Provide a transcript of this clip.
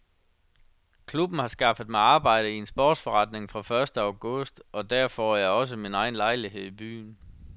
Klubben har skaffet mig arbejde i en sportsforretning fra første august og der får jeg også min egen lejlighed i byen.